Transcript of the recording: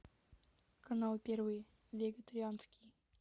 канал первый вегетарианский